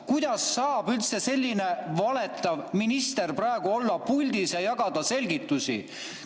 Kuidas saab üldse selline valetav minister praegu olla puldis ja jagada selgitusi?